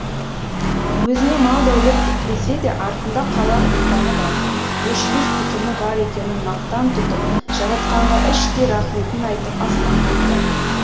өзіне мал дәулет бітпесе де артында қалар ұрпағы бар өшпес түтіні бар екенін мақтан тұтып жаратқанға іштей рахметін айтып аспанға қарады